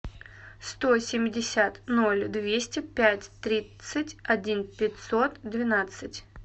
сто семьдесят ноль двести пять тридцать один пятьсот двенадцать